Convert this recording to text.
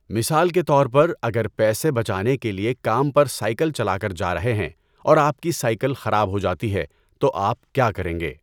مثال کے طور پر، اگر پیسے بچانے کے لئے کام پر سائیکل چلا کر جا رہے ہیں اور آپ کی سائیکل خراب ہو جاتی ہے، تو آپ کیا کریں گے؟